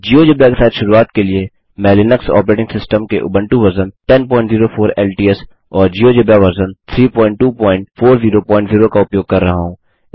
GeoGebra के साथ शुरूआत के लिए मैं लिनक्स ऑपरेटिंग सिस्टम के उबंटू वर्जन 1004 एलटीएस और जियोजेब्रा वर्जन 32400 का उपयोग कर रहा हूँ